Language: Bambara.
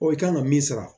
i kan ka min sara